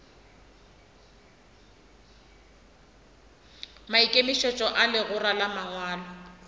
maikemišetšo a legora la mangwalo